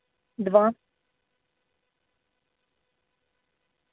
два